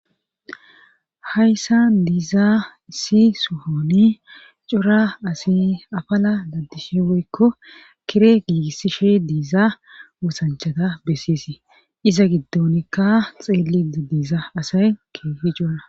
Hayssa diizaa si sohoni cura asi afala laddishi woykko kire giigissishe diiza wosanchata bessiesi iza giddonikka xeelie diiza asay keehi cuura.